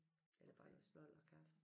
Eller bare lidt snold og kaffe